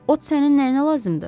Ot sənin nəyinə lazımdır?